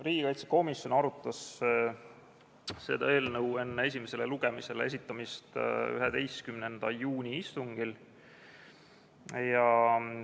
Riigikaitsekomisjon arutas seda eelnõu enne esimesele lugemisele esitamist 11. juuni istungil.